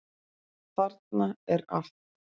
Þarna er allt.